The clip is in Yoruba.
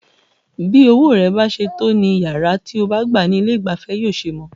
Bí owó rẹ bá ṣe tó ní iyàrá tí o bá gbá ní ilé ìgbafẹ́ yóò ṣe mọ.